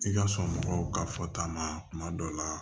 I ka sɔn mɔgɔw ka fɔta ma kuma dɔw la